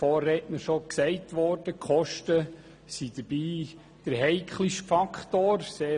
Der Vorredner sagte bereits, dass die Kosten dabei den heikelsten Faktor bilden.